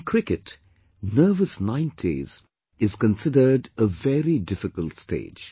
In Cricket, "Nervous Nineties" is considered a very difficult stage